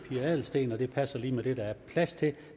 pia adelsteen og det passer lige med det der er plads til